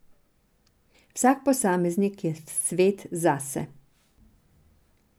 Vsak posameznik je svet zase.